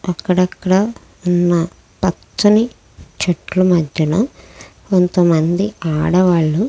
అక్కడక్కడా ఉన్న పచ్చని చెట్ల మధ్యన కొంతమంది ఆడవాళ్ళు --